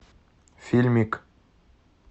фильмик